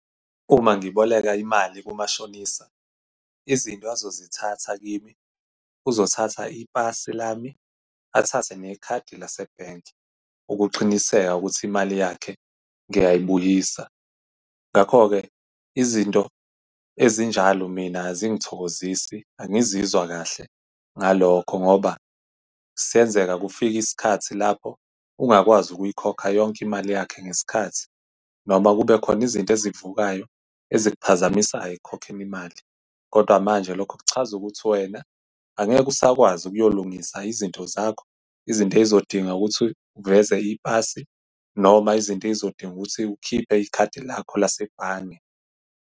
Uma ngiboleka imali kumashonisa, izinto azozithatha kimi, uzothatha ipasi lami, athathe nekhadi lase-bank ukuqiniseka ukuthi imali yakhe ngiyayibuyisa. Ngakho-ke izinto ezinjalo mina azingithokozisi, angizizwa kahle ngalokho, ngoba senzeka kufike isikhathi lapho ungakwazi ukuyikhokha yonke imali yakhe ngesikhathi. Noma kube khona izinto ezikuvukayo ezikuphazamisayo ekukhokheni imali. Kodwa manje lokho kuchaza ukuthi wena angeke usakwazi ukuyolungisa izinto zakho, izinto ey'zodinga ukuthi uveze ipasi, noma izinto ey'zodinga ukuthi ukhiphe ikhadi lakho lasebhange.